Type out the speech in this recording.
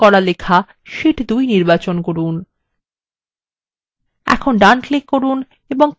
hyperlink মুছে ফেলার জন্য প্রথমে hyperlink করা লেখা শীট2 নির্বাচন করুন